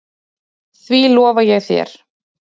Því lofa ég þér